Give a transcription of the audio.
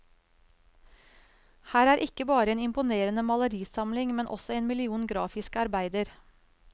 Her er ikke bare en imponerende malerisamling, men også én million grafiske arbeider.